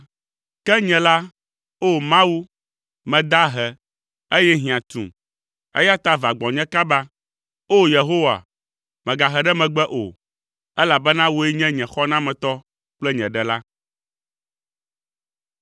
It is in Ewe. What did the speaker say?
Ke nye la, O Mawu, meda ahe, eye hiã tum, eya ta va gbɔnye kaba. O! Yehowa, mègahe ɖe megbe o, elabena wòe nye nye xɔnametɔ kple nye Ɖela.